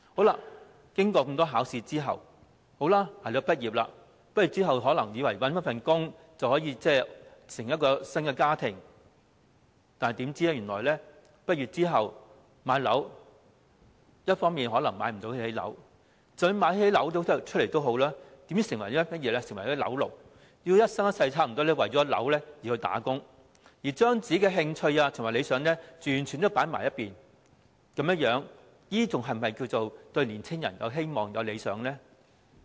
年青人經過多次考試，捱到畢業，以為畢業後找到工作便能組織新家庭，豈料畢業後，卻可能買不起樓，即使買得起，也會成為"樓奴"，幾乎一生一世為了供樓而工作，將自己的興趣和理想完全放在一旁，這樣還是否稱得上讓年青人有希望和理想呢？